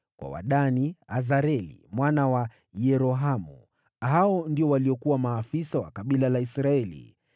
kwa Wadani: Azareli mwana wa Yerohamu. Hao ndio waliokuwa maafisa wa makabila ya Israeli.